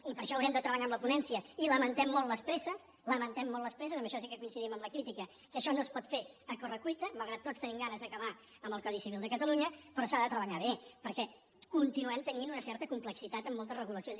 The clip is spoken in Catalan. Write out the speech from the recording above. i per això haurem de treballar amb la ponència i lamentem molt les presses lamentem molt les presses en això sí que coincidim en la crítica que això no es pot fer a corre cuita malgrat que tots tenim ganes d’acabar amb el codi civil de catalunya però s’ha de treballar bé perquè continuem tenint una certa complexitat en moltes regulacions